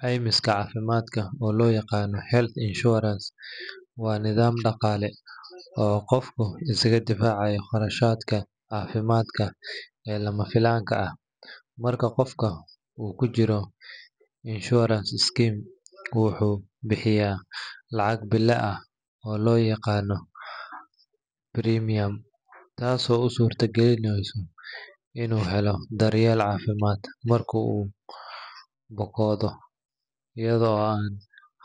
Caymiska caafimaadka, oo loo yaqaan health insurance, waa nidaam dhaqaale oo qofku isaga difaacayo kharashyada caafimaad ee lama filaanka ah. Marka qofka uu ku jiro insurance scheme, wuxuu bixiyaa lacag bille ah oo la yiraahdo premium, taasoo u suurta gelisa inuu helo daryeel caafimaad marka uu bukoodo iyada oo aan